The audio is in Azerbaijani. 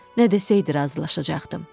Nə desəydi razılaşacaqdım.